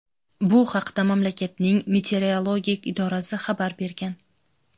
Bu haqda mamlakatning meteorologik idorasi xabar bergan.